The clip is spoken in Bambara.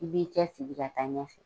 I b'i cɛsiri ka taa ɲɛfɛ.